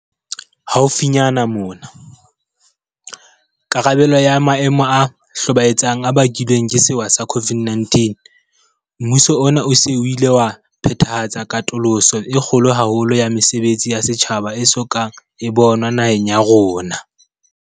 Haufinyane mona, karabelong ya maemo a hlobaetsang a bakilweng ke sewa sa COVID-19, mmuso ona o se o ile wa phethahatsa katoloso e kgolo haholo ya mesebetsi ya setjhaba e so ka e bonwa naheng ya rona.